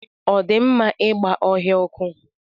Ọ dị mma ịgba ọhịa ọkụ?